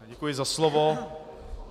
Děkuji za slovo.